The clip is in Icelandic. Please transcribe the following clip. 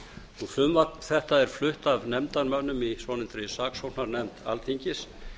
frumvarp þetta er flutt af nefndarmönnum í svonefndri saksóknarnefnd alþingis